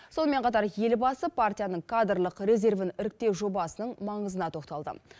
сонымен қатар елбасы партияның кадрлық резервін іріктеу жобасының маңызына тоқталды